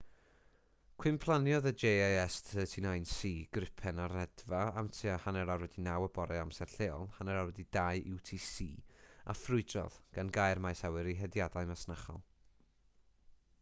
cwymplaniodd y jas 39c gripen ar redfa am tua 9.30 y bore amser lleol 0230 utc a ffrwydrodd gan gau'r maes awyr i hediadau masnachol